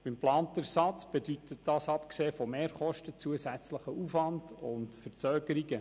Beim geplanten Ersatz bedeutet dies abgesehen von Mehrkosten, zusätzlichen Aufwand und Verzögerungen.